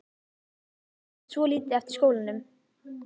Ég man svo lítið eftir skólanum.